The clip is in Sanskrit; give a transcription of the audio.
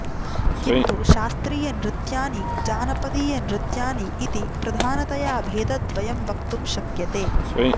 किन्तु शास्त्रीयनृत्यानि जानपदीयनृत्यानि इति प्रधानतया भेदद्वयं वक्तुं शक्यते